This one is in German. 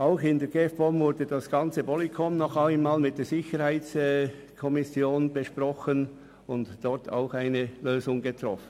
Auch im Ausschuss GEF/POM wurde das gesamte Polycom nochmals mit der SiK besprochen und dort eine Lösung gefunden.